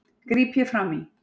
gríp ég fram í.